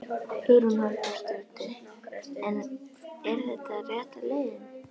Hugrún Halldórsdóttir: En er þetta rétta leiðin?